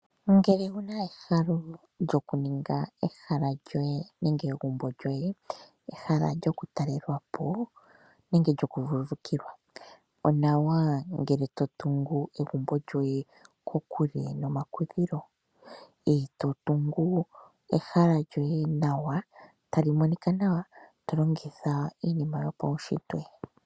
Ngele owuna ehalo lyokuninga ehala lyoye nenge egumbo lyoye, ehala lyokutalelwa po nenge lyokuvuvukilwa, onawa ngele totungu egumbo lyoye kokule nomakudhilo e totungu ehala lyoye nawa talimonika nawa tolongitha iinima yopawunshitwe.